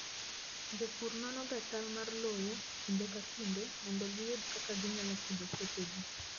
Jopur nonoga chal mar lowo kinde ka kinde mondo giyud kaka ginyalo pidho puothegi.